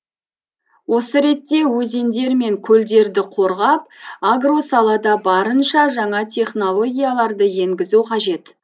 осы ретте өзендер мен көлдерді қорғап агро салада барынша жаңа технологияларды енгізу қажет